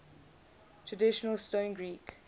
traditional stone greek